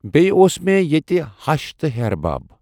بیٚیہِ اوس مےٚ ییٚتہِ ہَش تہٕ ہِحٮ۪ر بَب۔